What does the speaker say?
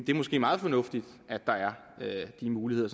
det måske meget fornuftigt at der er de muligheder